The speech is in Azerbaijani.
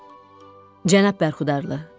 Cənab Bərxudarlı.